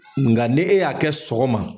Nka ni e y'a kɛ sɔgɔma.